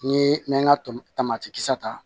N'i ye n ka tɔnti kisɛ ta